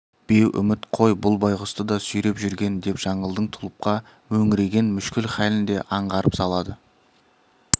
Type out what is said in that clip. беу үміт қой бұл байғұсты да сүйреп жүрген деп жаңылдың тұлыпқа мөңіреген мүшкіл хәлін де аңғартып салады